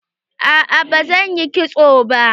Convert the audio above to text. A'a ba zan yi kitso ba.